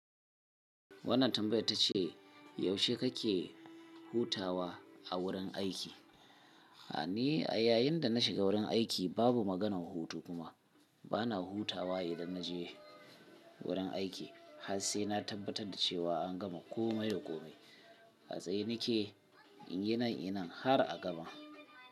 Wannan tambayar ta ce yaushe kake hutawa a wurin aiki? Ni a yayin da na shiga wurin aiki babu maganan hutu kuma bana hutawa idan na je wurin aiki. Har sai na tabbatar da cewa an gama kome da kome. A tsaye nake inyi nan inyi nan har a gaba.